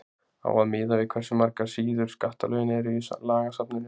Á að miða við hversu margar síður skattalögin eru í lagasafninu?